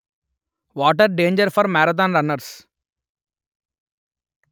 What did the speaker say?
water danger for marathon runners